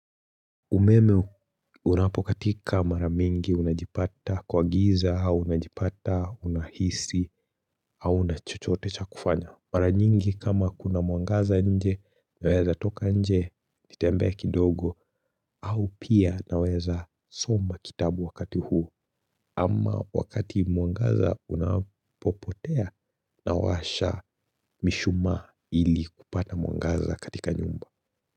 Umeme unapokatika mara mingi unajipata kwa giza au unajipata unahisi hauna chochote cha kufanya. Mara nyingi kama kuna mwangaza nje naweza toka nje nitembee kidogo au pia naweza soma kitabu wakati huu ama wakati mwangaza unapopotea nawasha mishumaa ili kupata mwangaza katika nyumba.